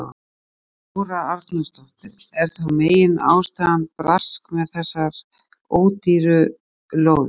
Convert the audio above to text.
Þóra Arnórsdóttir: Er þá meginástæðan brask með þessar ódýru lóðir?